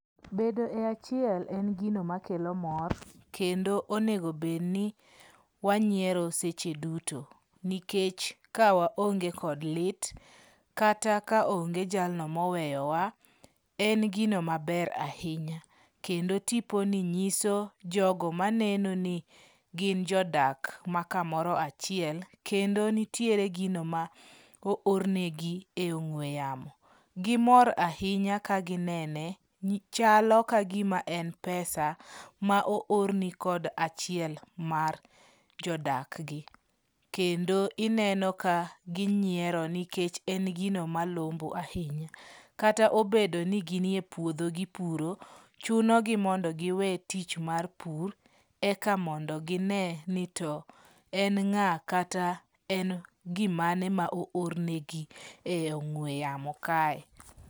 Bedo e achiel en gino makelo mor kendo onego bedi ni wanyiero seche duto. Nikech kawaonge kod lit, kata ka onge jalno moweyowa en gino maber ahinya. Kendo tiponi nyiso jogo maneno ni gin jodak makamoro achiel kendo nitie gino ma oor negi e ong'ue yamo. Gimor ahinya kaginene, chalo kagima en pesa ma oorni kod achiel mar jodak gi. Kendo ineno ka ginyiero nikech en gino malombo ahinya. Kata obedo ni gin epuodho gipuro, chunogi mondo giwe tich mar pur eka mondo gine ni to en ng'a kata en gimane ma oor negi e ong'ue yamo kae.